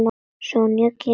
Sonja kemur.